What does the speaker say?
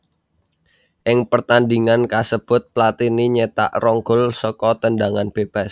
Ing pertandhingan kasebut Platini nyétak rong gol saka tendhangan bébas